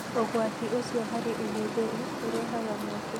Ũgwati ũcio harĩ ũhũthĩri ũrehaga mweke.